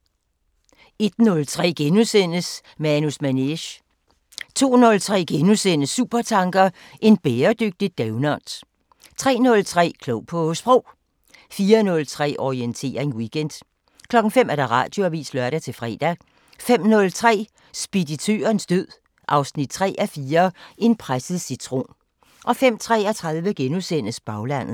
01:03: Manus Manege * 02:03: Supertanker: En bæredygtig doughnut * 03:03: Klog på Sprog 04:03: Orientering Weekend 05:00: Radioavisen (lør-fre) 05:03: Speditørens død 3:4 – En presset citron 05:33: Baglandet *